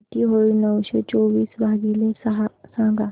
किती होईल नऊशे चोवीस भागीले सहा सांगा